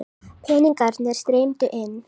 Peningarnir streymdu inn.